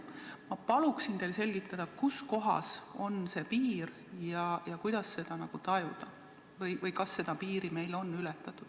Ma palun teil selgitada, kus kohas on see piir ja kuidas seda tajuda või kas seda piiri on meil ületatud.